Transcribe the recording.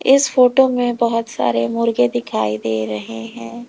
इस फोटो में बहुत सारे मुर्गे दिखाई दे रहे हैं।